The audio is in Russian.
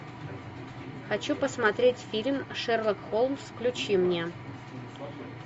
хочу посмотреть фильм шерлок холмс включи мне